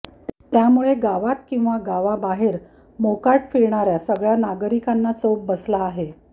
त्यामुळे गावात किंवा गावाबाहेर मोकाट फिरणाऱ्या सगळ्या नागरिकांना चोप बसला आहे